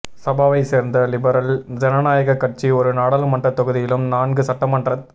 சபாவைச் சேர்ந்த லிபரல் ஜனநாயகக் கட்சி ஒரு நாடாளுமன்றத் தொகுதியிலும் நான்கு சட்டமன்றத்